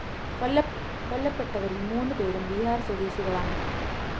കൊല്ലപ്പെട്ടവരില്‍ മൂന്ന് പേരും ബിഹാര്‍ സ്വദേശികളാണ്